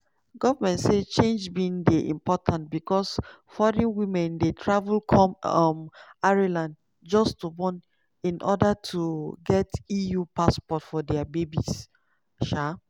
goment say change bin dey important becos foreign women dey travel come um ireland just to born in order to get eu passport for dia babies. um